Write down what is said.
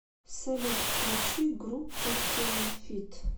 салют включи группу темафид